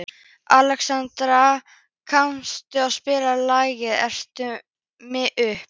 Alexstrasa, kanntu að spila lagið „Eltu mig uppi“?